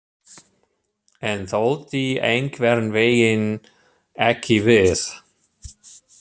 En þoldi einhvern veginn ekki við.